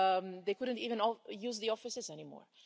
they couldn't even use the offices anymore.